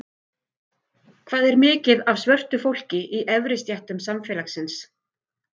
Hvað er mikið af svörtu fólki í efri stéttum samfélagsins?